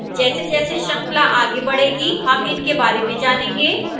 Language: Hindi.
जैसेजैसे श्रृंखला आगे बढ़ेगी हम इनके बारे में जानेंगे